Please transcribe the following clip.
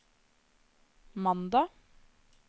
mandag